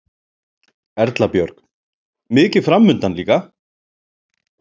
Erla Björg: Mikið framundan líka?